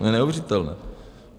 To je neuvěřitelné.